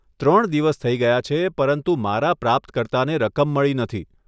ત્રણ દિવસ થઈ ગયા છે, પરંતુ મારા પ્રાપ્તકર્તાને રકમ મળી નથી.